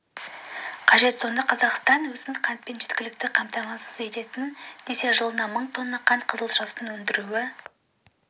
қажет сонда қазақстан өзін қантпен жеткілікті қамтамасыз етемін десе жылына мың тонна қант қызылшасын өндіруі